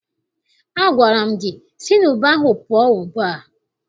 Agwara m gị si n' ube ahụ pụọ ugbu a!